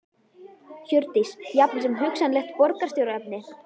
Hjördís: Jafnvel sem hugsanlegt borgarstjóraefni?